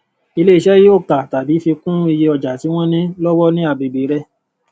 ilé iṣé yóò ka tàbí fi kún iye ọjà tí wón ní lówó ní agbègbè rè